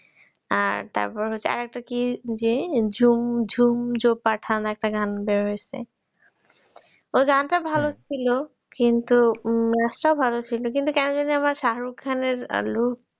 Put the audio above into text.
আর তারপর হচ্ছে আরেকটা কি যে ঝুম ঝুম জো পাঠান আরেকটা গান বের হৈছে ওই গানটা ভালো ছিল কিন্তু নাচ টাও ভালো ছিল কিন্তু কেন জানো আমার শাহরুখ খানের look